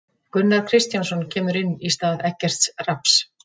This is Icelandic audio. Gunnar Kristjánsson kemur inn í stað Eggerts Rafns.